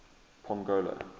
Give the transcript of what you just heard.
pongola